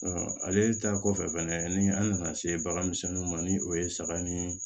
ale ta kɔfɛ fɛnɛ ni an nana se baganmisɛnninw ma ni o ye saga ni